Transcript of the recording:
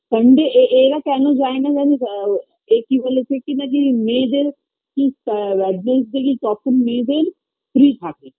Sunday এ এ এরা কেনো যায় না জানিস এ কি বলেছে কি না কি মেয়েদের কি তখন মেয়েদের free থাকে